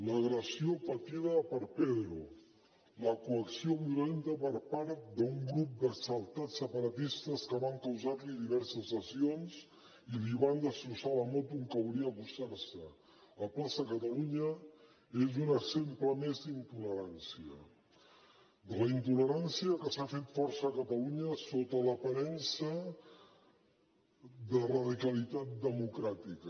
l’agressió patida per pedro la coacció violenta per part d’un grup d’exaltats separatistes que van causar li diverses lesions i li van destrossar la moto amb què volia acostar se a plaça catalunya és un exemple més d’intolerància la intolerància que s’ha fet forta a catalunya sota l’aparença de radicalitat democràtica